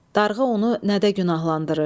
Darğa onu nədə günahlandırır?